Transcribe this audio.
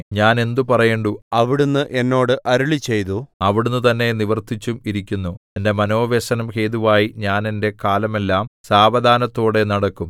ഞാൻ എന്ത് പറയേണ്ടു അവിടുന്ന് എന്നോട് അരുളിച്ചെയ്തു അവിടുന്ന് തന്നെ നിവർത്തിച്ചും ഇരിക്കുന്നു എന്റെ മനോവ്യസനം ഹേതുവായി ഞാൻ എന്റെ കാലമെല്ലാം സാവധാനത്തോടെ നടക്കും